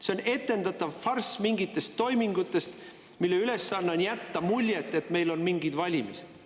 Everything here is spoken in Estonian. See on etendatav farss mingitest toimingutest, mille ülesanne on jätta mulje, et meil on mingid valimised.